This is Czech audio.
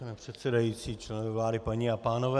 Pane předsedající, členové vlády, paní a pánové.